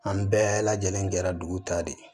An bɛɛ lajɛlen kɛra dugu ta de ye